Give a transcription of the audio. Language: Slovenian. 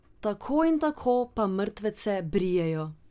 Tako in tako pa mrtvece brijejo.